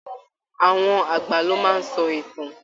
Àwọn àgbà ló máa sọ ìtàn